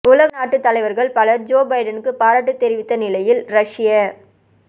உலக நாட்டுத் தலைவர்கள் பலர் ஜோ பைடனுக்குப் பாராட்டு தெரிவித்த நிலையில் ரஷ்ய